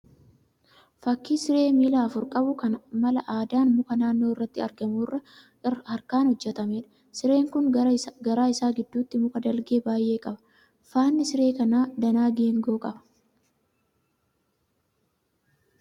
Fakkii siree miila afur qabu kan mala aadaan muka naannoo irratti argamu irraa harkaan hojjetameedha. Sireen kun garaa isaa gidduuti muka dalgee baay'ee qaba. Faanni siree kanaa danaa geengoo qaba.